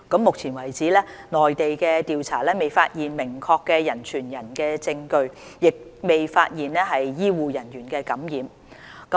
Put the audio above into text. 目前為止，內地的調查未發現明確的人傳人證據，亦未發現醫護人員受感染。